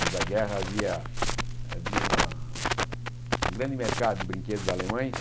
Antes da guerra, havia havia uma um grande mercado de brinquedos alemães,